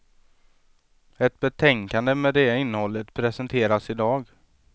Ett betänkande med det innehållet presenteras idag.